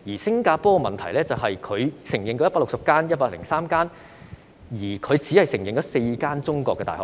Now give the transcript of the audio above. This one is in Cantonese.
新加坡認可103所外國醫學院，但當中只有4所中國大學，